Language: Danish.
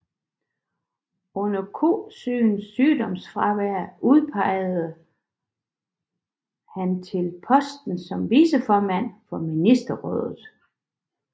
Under Kosygins sygdomsfravær udpegede Bresjnev Nikolaj Tikhonov til posten som viceformand for Ministerrådet